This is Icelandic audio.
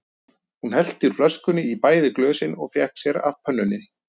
Hún hellti úr flöskunni í bæði glösin og fékk sér af pönnunni.